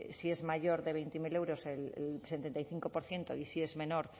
si es mayor de veinte mil euros el setenta y cinco por ciento y si es menor